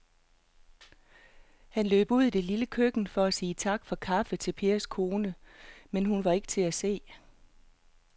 Han løb ud i det lille køkken for at sige tak for kaffe til Pers kone, men hun var ikke til at se.